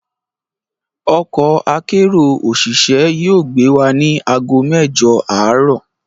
Ọkọ akérò òṣìṣẹ́ yóò gbé wa ní àgó mẹ́jọ̀ àárọ̀